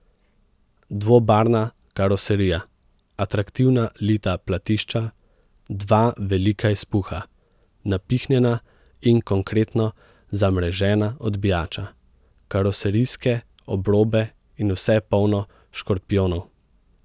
Dvobarvna karoserija, atraktivna lita platišča, dva velika izpuha, napihnjena in konkretno zamrežena odbijača, karoserijske obrobe in vse polno škorpijonov ...